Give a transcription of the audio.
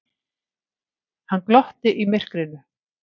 Hann glotti í myrkrinu.